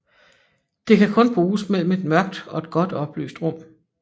Det kan kun bruges mellem et mørkt og et godt oplyst rum